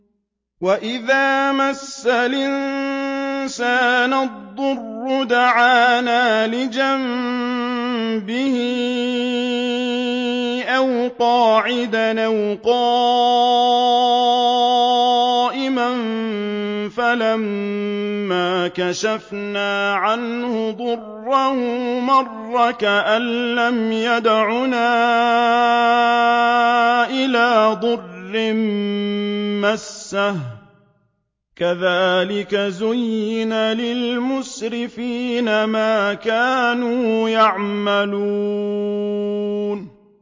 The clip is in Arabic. وَإِذَا مَسَّ الْإِنسَانَ الضُّرُّ دَعَانَا لِجَنبِهِ أَوْ قَاعِدًا أَوْ قَائِمًا فَلَمَّا كَشَفْنَا عَنْهُ ضُرَّهُ مَرَّ كَأَن لَّمْ يَدْعُنَا إِلَىٰ ضُرٍّ مَّسَّهُ ۚ كَذَٰلِكَ زُيِّنَ لِلْمُسْرِفِينَ مَا كَانُوا يَعْمَلُونَ